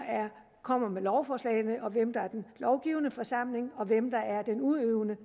kommer med lovforslagene hvem der er den lovgivende forsamling og hvem der er den udøvende